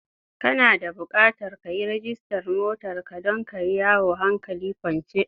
Kana da bukatar ka yi rajistar motar ka don ka yi yawo hankali kwance.